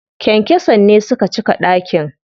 Kyankyason ne suka cika ɗakin.